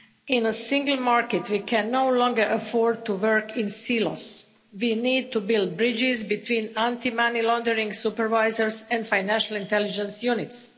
In a single market, we can no longer afford to work in silos. We need to build bridges between anti money laundering supervisors and financial intelligence units.